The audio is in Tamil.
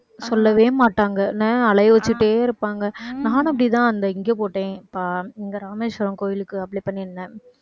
சொல்லவே மாட்டாங்க. நான் அலைய வச்சுட்டே இருப்பாங்க நானும் அப்படிதான் அந்த இங்க போட்டேன். அஹ் இங்க ராமேஸ்வரம் கோவிலுக்கு apply பண்ணியிருந்தேன்